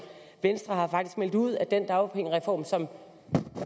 venstre har faktisk meldt ud at den dagpengereform som